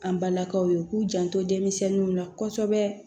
An balakaw ye k'u janto denmisɛnninw la kɔsɔbɛ